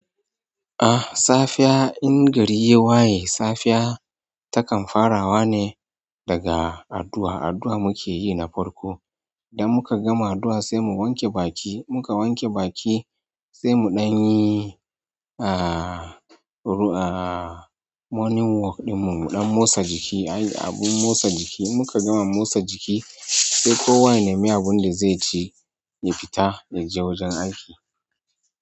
Ah, safiya in gari yayi waye safiya takan farawa ne daga addu'a, addu'a muke yi na farko. Idan muka gama addu'a sai mu wanke baki, muka wanke baki sai muɗanyi ah, ru ah, morning walk ɗinmu, muɗan motsa jiki, ai abun motsa jiki. Muka gama motsa jiki sai ko wane mai abunda zai ci ya fita ya je wajen aiki.